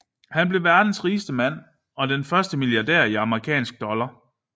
Han blev verdens rigeste mand og den første milliardær i amerikanske dollar